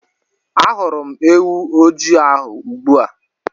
Ahụrụ m ewu ojii ahụ ugbu a.